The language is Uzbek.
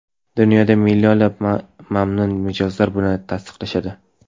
Dunyodagi millionlab mamnun mijozlar buni tasdiqlashadi.